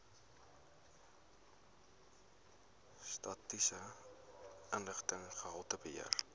statistiese inligting gehaltebeheer